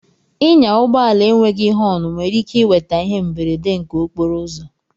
Ịnya ụgbọ ala enweghị họn nwere ike iweta ihe mberede nke okporo ụzọ